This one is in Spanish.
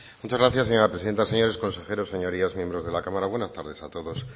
muchas gracias señora presidenta señores consejeros señorías miembros de la cámara buenas tardes a todos